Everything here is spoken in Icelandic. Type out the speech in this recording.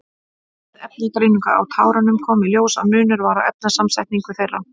Við efnagreiningu á tárunum kom í ljós að munur var á efnasamsetningu þeirra.